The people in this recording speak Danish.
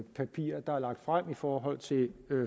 papir der er lagt frem i forhold til